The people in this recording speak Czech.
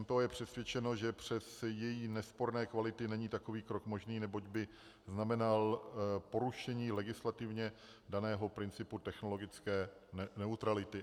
MPO je přesvědčeno, že přes její nesporné kvality není takový krok možný, neboť by znamenal porušení legislativně daného principu technologické neutrality.